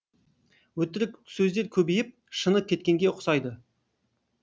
өтірік сөздер көбейіп шыны кеткенге ұқсайды